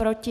Proti?